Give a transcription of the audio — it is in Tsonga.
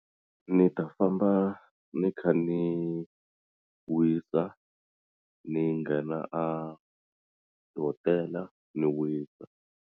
Ni ta famba ni kha ni wisa ni nghena a tihotela ni wisa.